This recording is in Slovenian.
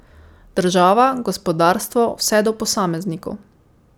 Država, gospodarstvo, vse do posameznikov.